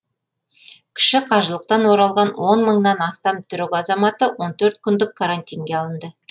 кіші қажылықтан оралған он мыңнан астам түрік азаматы он төрт күндік карантинге алынды